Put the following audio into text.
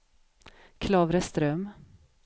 Klavreström